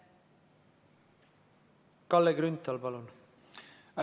Kalle Grünthal, palun!